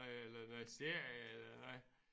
Eller noget serie eller noget?